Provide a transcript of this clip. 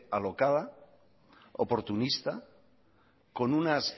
alocada oportunista con unas